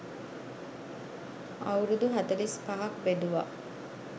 අවුරුදු හතළිස් පහක් බෙදුවා.